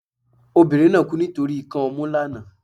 obìnrín na kú nitoriti ikan ọmu lana